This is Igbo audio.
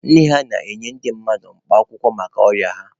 Nne ha na-enye ndị mmadụ mkpa akwụkwọ maka ọrịa ha.